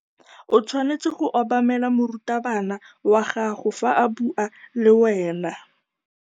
O tshwanetse go obamela morutabana wa gago fa a bua le wena.